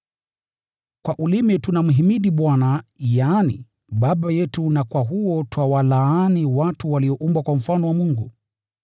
Kwa ulimi tunamhimidi Bwana, yaani Baba yetu, na kwa huo twawalaani watu walioumbwa kwa mfano wa Mungu.